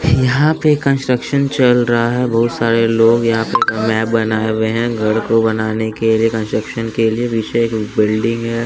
यहाँ पे कंस्ट्रक्शन चल रहा है बहुत सारे लोग यहाँ पे मैप बनाए हुए हैं घर को बनाने के लिए कंस्ट्रक्शन के लिए विशे एक बिल्डिंग है।